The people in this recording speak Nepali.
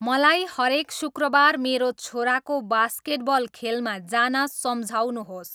मलाई हरेक शुुक्रबार मेरो छोराको बास्केटबल खेलमा जान सम्झाउनुहोस्